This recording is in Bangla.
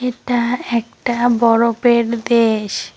এটা একটা বরফের দেশ।